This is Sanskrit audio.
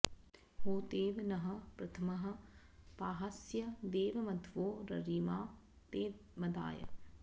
होतेव नः प्रथमः पाह्यस्य देव मध्वो ररिमा ते मदाय